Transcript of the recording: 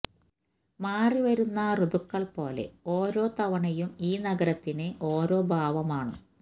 മാറിവരുന്ന ഋതുക്കള് പോലെ ഓരോ തവണയും ഈ നഗരത്തിന് ഓരോ ഭാവമാണ്